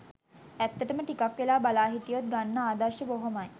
ඇත්තටම ටිකක් වෙලා බලා හිටියොත් ගන්න ආදර්ශ බොහොමයි